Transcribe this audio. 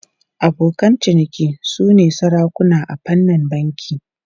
Abokan ciniki sune sarakuna a fannin banki.